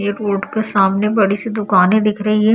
Airport के सामने बड़ी -सी दुकानें दिख रही हैं।